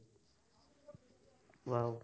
wow